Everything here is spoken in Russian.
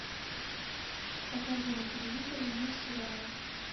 покажи на телевизоре мир сериала